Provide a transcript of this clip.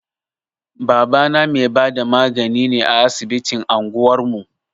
Babana mai bada magani ne a asibitin anguwar mu.